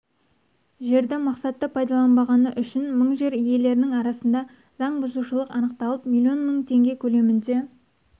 жерді мақсатты пайдаланбағаны үшін мың жер иелерінің арасында заң бұзушылық анықталып миллион мың теңге көлемінде